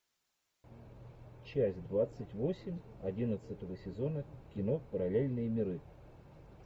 часть двадцать восемь одиннадцатого сезона кино параллельные миры